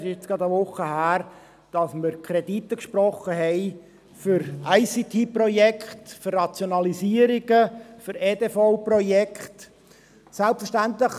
Es ist jetzt gerade eine Woche her, dass wir Kredite für ICTProjekte, für Rationalisierungen, für EDV-Projekte gesprochen haben.